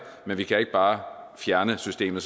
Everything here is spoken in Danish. men vi kan ikke bare fjerne systemet